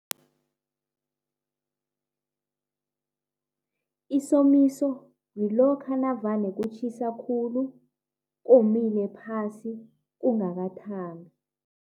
Isomiso yilokha nakuvane kutjhisa khulu, komile phasi, kungakathambi.